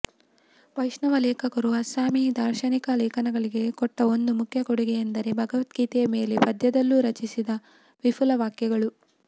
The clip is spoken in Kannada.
ವೈಷ್ಣವ ಲೇಖಕರು ಅಸ್ಸಾಮೀ ದಾರ್ಶನಿಕ ಲೇಖನಗಳಿಗೆ ಕೊಟ್ಟ ಒಂದು ಮುಖ್ಯ ಕೊಡುಗೆಯೆಂದರೆ ಭಗವದ್ಗೀತೆಯ ಮೇಲೆ ಪದ್ಯದಲ್ಲೂ ರಚಿಸಿದ ವಿಪುಲ ವ್ಯಾಖ್ಯೆಗಳು